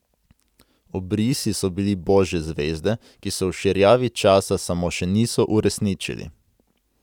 Obrisi so bili božje zvezde, ki se v širjavi časa samo še niso uresničili.